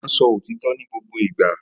Ó máa ń sọ òtítọ́ ní gbogbo ìgbà